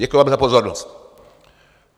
Děkuji vám za pozornost.